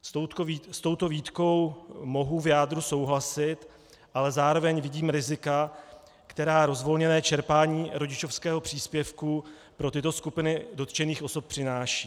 S touto výtkou mohu v jádru souhlasit, ale zároveň vidím rizika, která rozvolněné čerpání rodičovského příspěvku pro tyto skupiny dotčených osob přináší.